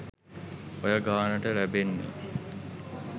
ඔය ගානට ලැබෙන්නේ.